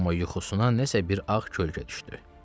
Amma yuxusuna nəsə bir ağ kölgə düşdü.